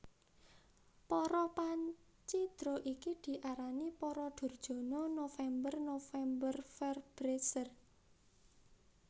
Para pancidra iki diarani para Durjana November Novemberverbrecher